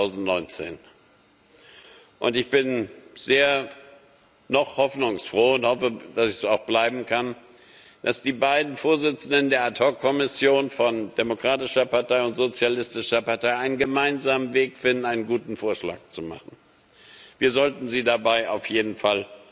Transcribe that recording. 2019. Und ich bin noch sehr hoffnungsfroh und hoffe, dass ich das auch bleiben kann, dass die beiden Vorsitzenden der Ad hoc Kommission von der Demokratischen Partei und der Sozialistischen Partei einen gemeinsamen Weg finden, einen guten Vorschlag zu machen. Wir sollten sie dabei auf jeden Fall